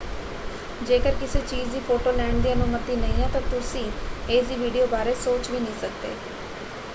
ਜੇਕਰ ਕਿਸੇ ਚੀਜ਼ ਦੀ ਫੋਟੋ ਲੈਣ ਦੀ ਅਨੁਮਤੀ ਨਹੀਂ ਹੈ ਤਾਂ ਤੁਸੀਂ ਇਸਦੀ ਵੀਡੀਓ ਬਾਰੇ ਸੋਚ ਵੀ ਨਹੀਂ ਸਕਦੇ।